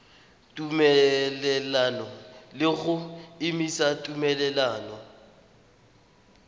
tumelelano le go emisa tumelelano